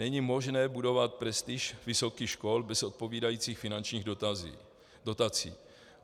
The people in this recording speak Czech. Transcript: Není možné budovat prestiž vysokých škol bez odpovídajících finančních dotací.